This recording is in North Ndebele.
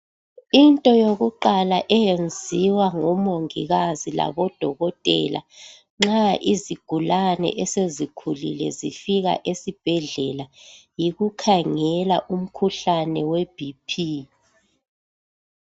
Into yokuqala eyenziwa ngomongikazi labodokotela nxa izigulane esezikhulile zifika esibhedlela yikukhangela umkhuhlane weBp.